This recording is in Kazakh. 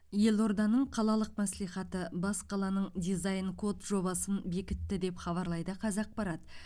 елорданың қалалық мәслихаты бас қаланың дизайн код жобасын бекітті деп хабарлайды қазақпарат